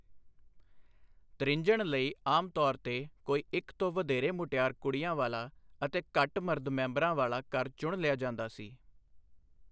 ਤ੍ਰਿੰਞਣ ਲਈ ਆਮ ਤੌਰ ਤੇ ਕੋਈ ਇੱਕ ਤੋਂ ਵਧੇਰੇ ਮੁਟਿਆਰ ਕੁੜੀਆਂ ਵਾਲਾ ਅਤੇ ਘੱਟ ਮਰਦ ਮੈੈਂਬਰਾਂ ਵਾਲਾ ਘਰ ਚੁਣ ਲਿਆ ਜਾਂਦਾ ਸੀ।